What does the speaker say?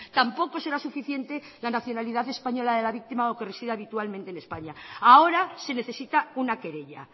tampoco será suficiente la nacionalidad española de la víctima o que resida habitualmente en españa ahora se necesita una querella